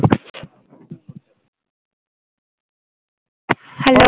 Hello